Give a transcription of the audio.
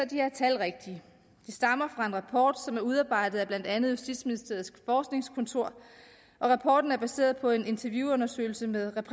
de her tal rigtige de stammer fra en rapport som er udarbejdet af blandt andet justitsministeriets forskningskontor og rapporten er baseret på en interviewundersøgelse med